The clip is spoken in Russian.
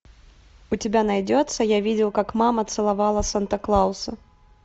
у тебя найдется я видел как мама целовала санта клауса